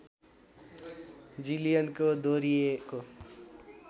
जिलियनको दोहोरिएको